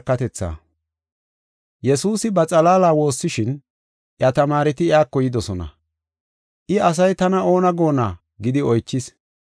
Yesuusi ba xalaala woossishin, iya tamaareti iyako yidosona. I, “Asay tana oona goonna?” gidi oychis.